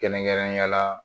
Kɛrɛnkɛrɛnnenya la